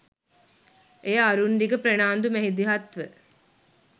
එය අරුන්දික ප්‍රනාන්දු මැදිහත් ව